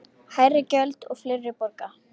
Hærri gjöld og fleiri borga